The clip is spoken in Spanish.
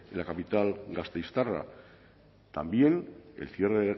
la capital gasteiztarra también el cierre